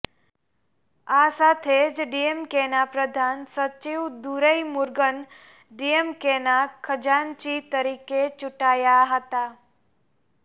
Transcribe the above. આ સાથે જ ડીએમકેના પ્રધાન સચિવ દુરઈમુરુગન ડીએમકેના ખજાનચી તરીકે ચૂંટાયા હતા